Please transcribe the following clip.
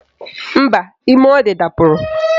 Mba, ime ọ dị dapụrụ